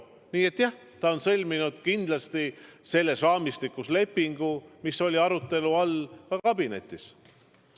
Nii et jah, ta on sõlminud lepingu kindlasti selles raamistikus, mis oli arutelu all ka kabinetis.